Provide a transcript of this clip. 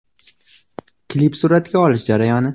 Klip suratga olish jarayoni.